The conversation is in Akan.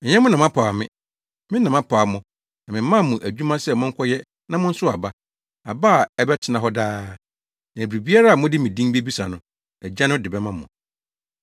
Ɛnyɛ mo na mpaw me; me na mepaw mo na memaa mo adwuma sɛ monkɔyɛ na monsow aba; aba a ɛbɛtena hɔ daa, Na biribiara a mode me din bebisa no, Agya no de bɛma mo.